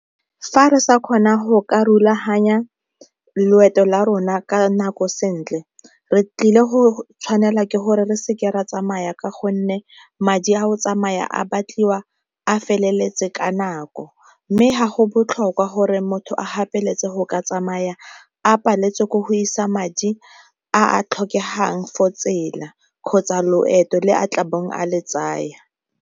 Fa re sa kgona go ka rulaganya loeto la rona ka nako sentle, re tlile go tshwanela ke gore re seke ra tsamaya ka gonne madi a go tsamaya a batliwa a feleletse ka nako. Mme ga go botlhokwa gore motho a gapeletsa go ka tsamaya a paletswe ko go isa madi a a tlhokegang for tsela kgotsa loeto le a tla bong a le tsaya.